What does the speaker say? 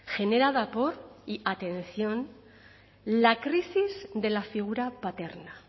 generada por y atención la crisis de la figura paterna